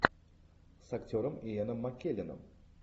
с актером иэном маккелленом